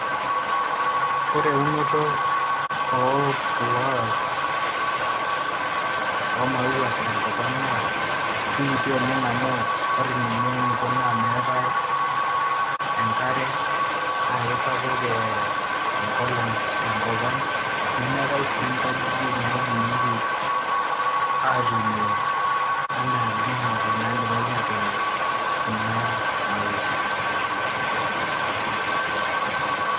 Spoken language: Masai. Ore eunoto oo flowers oo maua tenkop ang naa kikiti oleng amu ore ninye eniko naa meetae enkare. Naa kisapuk enkolong tenkop ang nemeetae sii nkajijik naidimieki atuunie enaa green houses naidipaki atuunie kuna maua.